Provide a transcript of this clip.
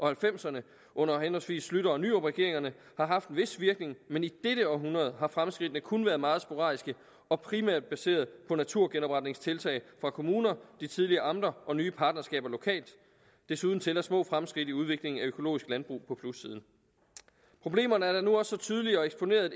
halvfemserne under henholdsvis schlüter og nyrupregeringerne har haft en vis virkning men i dette århundrede har fremskridtene kun være meget sporadiske og primært baseret på naturgenopretningstiltag fra kommuner de tidligere amter og nye partnerskaber lokalt desuden tæller små fremskridt i udviklingen af økologisk landbrug på plussiden problemerne er nu også så tydelige og eksponerede